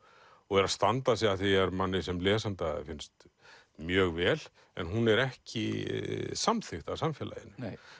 og er að standa sig að því er manni sem lesanda finnst mjög vel en hún er ekki samþykkt af samfélaginu